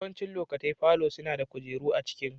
Yawancin lokatai falo suna da kujeru a cikin.